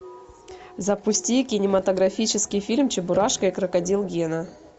запусти кинематографический фильм чебурашка и крокодил гена